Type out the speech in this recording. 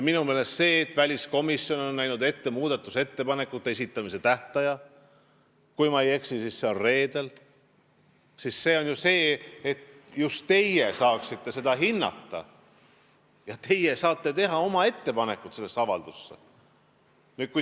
Minu meelest see, et väliskomisjon on näinud ette muudatusettepanekute esitamise tähtaja , tähendab ju seda, et just teie saate seda hinnata, teie saate teha oma ettepanekud selle avalduse kohta.